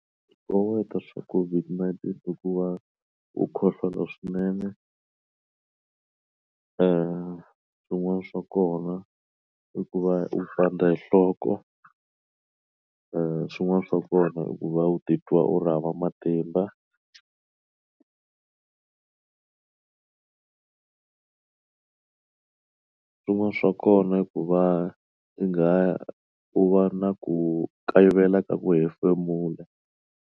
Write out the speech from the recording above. Swikoweto swa COVID-19 hikuva u khohlola swinene swin'wana swa kona i ku va u pandza hi nhloko i swin'wana swa kona i ku va u titwa u ri hava matimba swin'wana swa kona hikuva i nga u va na ku kayivela ka ku hefemula.